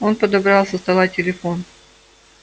он подобрал со стола телефон